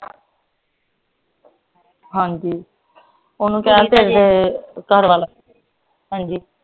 ਹਾਂਜੀ ਓਹਨੂੰ ਕਹਿਣ ਘਰਵਾਲਾ ਹਾਂਜੀ